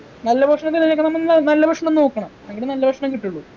നല്ല ഭക്ഷണം തിരഞ്ഞെടുക്കാണമെന്ന് നല്ല ഭക്ഷണം നോക്കണം എങ്കിലേ നല്ല ഭക്ഷണം കിട്ടുള്ളു